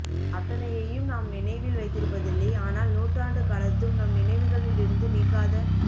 அத்தனையையும் நாம் நினைவில் வைத்திருப்பதில்லை ஆனால் நூற்றாண்டு கடந்தும் நம் நினைவுகளில் இருந்து நீங்காத